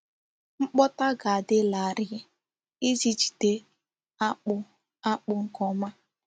Mkpótá ga-adị larịị iji jide akpụ́ akpụ́ nke ọma.